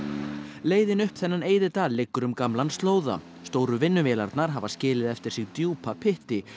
leiðin upp þennan liggur um gamlan slóða stóru vinnuvélarnar hafa skilið eftir sig djúpa pytti